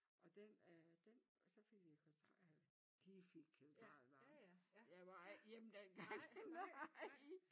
Og den øh den og så fik vi de fik central varme jeg var ikke hjemme dengang nej